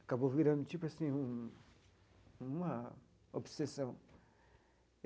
Acabou virando tipo assim um uma obsessão.